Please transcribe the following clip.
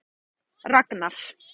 Ragnar